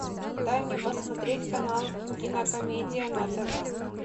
дай мне посмотреть канал кинокомедия на тв